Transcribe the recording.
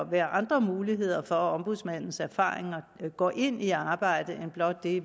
være andre muligheder for at ombudsmandens erfaringer indgår i arbejdet end blot det